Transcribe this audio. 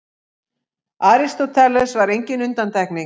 Aristóteles var engin undantekning.